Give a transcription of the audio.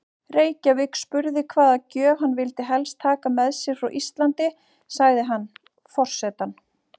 Reykjavík spurði hvaða gjöf hann vildi helst taka með sér frá Íslandi, sagði hann: Forsetann